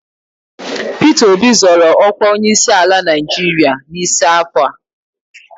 Pita Obi zọrọ ọkwa onyeisiala Naịjirịa n'isi afọ a